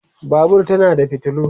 Babur tana da fitilu